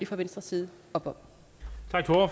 fra venstres side op